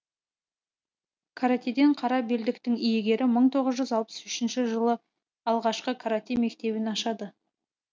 каратэден қара белдіктің иегері мың тоғыз жүз алпыс үшінші жылы алғашқы каратэ мектебін ашады